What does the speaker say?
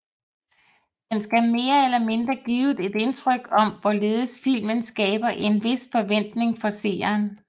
Den skal mere eller mindre give et indtryk om hvorledes filmen skaber en hvis forventning for seeren